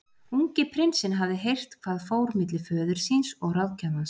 Ungi prinsinn hafði heyrt hvað fór milli föður síns og ráðgjafans.